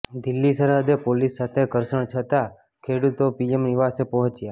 દિલ્હી સરહદે પોલીસ સાથે ધર્ષણ છતાં ખેડૂતો પીએમ નિવાસે પહોંચ્યા